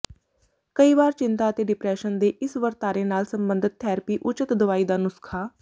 ਕਈ ਵਾਰ ਚਿੰਤਾ ਅਤੇ ਡਿਪਰੈਸ਼ਨ ਦੇ ਇਸ ਵਰਤਾਰੇ ਨਾਲ ਸਬੰਧਤ ਥੈਰੇਪੀ ਉਚਿਤ ਦਵਾਈ ਦਾ ਨੁਸਖ਼ਾ